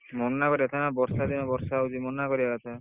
ମନା କରିବା କଥା ନା ବର୍ଷା ଦିନ ବର୍ଷା ହଉଛି ମନା କରିବା କଥା।